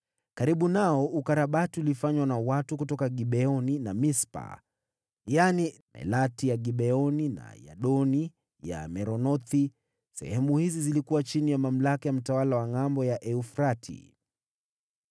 Karibu nao ukarabati ulifanywa na watu kutoka Gibeoni na Mispa, yaani Melati Mgibeoni, na Yadoni Mmeronothi, sehemu hizi zikiwa chini ya mamlaka ya mtawala wa Ngʼambo ya Frati.